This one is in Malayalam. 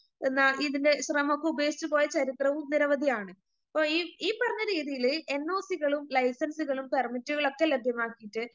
എന്നാ ഇതിൻ്റെ ശ്രമവൊക്കെ ഉപേക്ഷിച്ചുപോയ ചരിത്രവും നിരവധിയാണ്. അപ്പൊ ഈ പറഞ്ഞ രീതിയില് എന്നോസികളും, ലൈസൻസുകളും, പെർമിറ്റുകളൊക്കെ ലഭ്യമാക്കിയിട്ട്